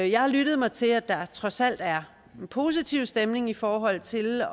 jeg har lyttet mig til at der trods alt er en positiv stemning i forhold til